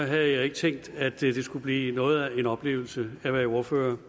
havde jeg ikke tænkt at det skulle blive noget af en oplevelse at være ordfører